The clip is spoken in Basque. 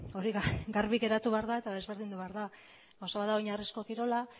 hori ba garbi geratu behar da eta ezberdindu behar da gauza bat da oinarrizko kirola